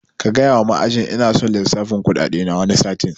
Kagaya ma ma'ajin kuɗi ina son lissafin kuɗaɗe na wani satin